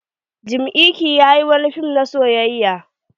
Jim iyke ya yi wani fim na soyayya.